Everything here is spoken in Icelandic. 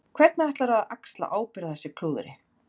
Hvernig ætlarðu að axla ábyrgð á þessu klúðri?